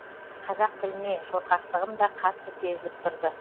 қазақ тіліне шорқақтығым да қатты сезіліп тұрды